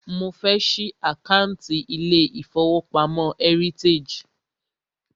Mo fẹ́ ṣí àkántì ilé ìfọwọ́pamo Heritage.